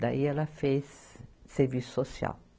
Daí ela fez serviço social.